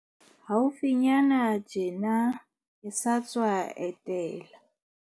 Haufinyane tjena, ke sa tswa etela.